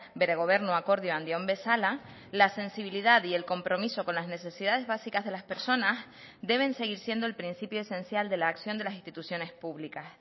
bere gobernu akordioan dion bezala la sensibilidad y el compromiso con las necesidades básicas de las personas deben seguir siendo el principio esencial de la acción de las instituciones públicas